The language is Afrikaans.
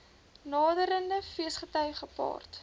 naderende feesgety gepaard